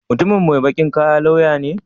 Mutumin mai baƙin kaya lauya ne?